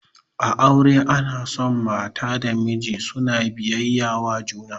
A aure ana son mata da miji suna biyayya wa juna